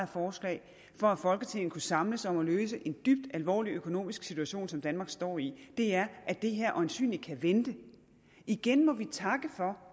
forslag for at folketinget kunne samles om at løse en dybt alvorlig økonomisk situation som danmark står i er at det her øjensynlig kan vente igen må vi takke for